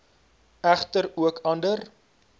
egter ook ander